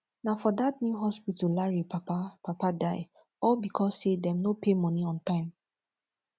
na for dat new hospital larry papa papa die all because say dem no pay money on time